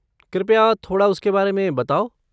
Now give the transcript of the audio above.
कृपया थोड़ा उसके बारे में बताओ?